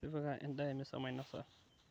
tipika edaa emisa mainosa